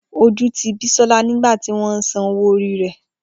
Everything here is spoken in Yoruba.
Oju ti Bisola nigba ti won wa san owo ori re.